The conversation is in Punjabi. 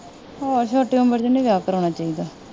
ਹੋਰ ਛੋਟੀ ਉਮਰ ਚ ਨਹੀਂ ਵਿਆਹ ਕਰਾਉਣਾ ਚਾਹੀਦਾ।